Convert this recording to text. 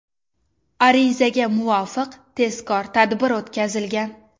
Arizaga muvofiq tezkor tadbir o‘tkazilgan.